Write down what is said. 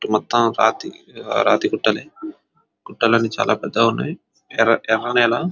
మొత్తం రాతీ రాతి గుట్టలే గుట్టలన్ని చాలా పెద్దగా ఉన్నాయి ఎర్ర ఎర్రనేలా.